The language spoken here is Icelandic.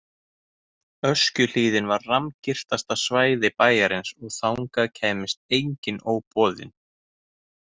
Öskjuhlíðin var rammgirtasta svæði bæjarins og þangað kæmist enginn óboðinn.